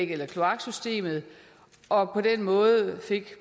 eller kloaksystemet og på den måde